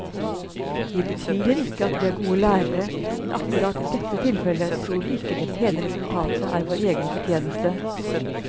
Vi betviler ikke at vi er gode lærere, men akkurat i dette tilfellet tror vi ikke det pene resultatet er vår egen fortjeneste.